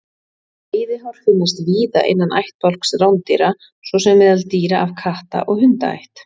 Veiðihár finnast víða innan ættbálks rándýra svo sem meðal dýra af katta- og hundaætt.